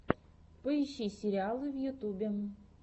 поищи сериалы в ютьюбе